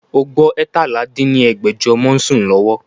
O gbọ́ eétalá dín ní ẹgbẹ́jọ ọmọ ń sún lọ́wọ́?